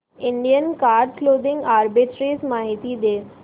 Indian card clothing arbitrage माहिती दे